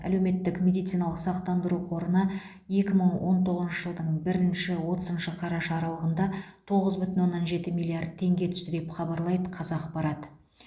әлеуметтік медициналық сақтандыру қорына екі мың он тоғызыншы жылдың бірінші отызыншы қараша аралығында тоғыз бүтін оннан жеті миллиард теңге түсті деп хабарлайды қазақпарат